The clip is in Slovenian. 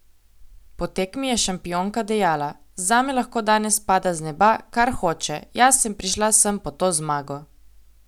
Po tekmi je šampionka dejala: 'Zame lahko danes pada z neba, kar hoče, jaz sem prišla sem po to zmago.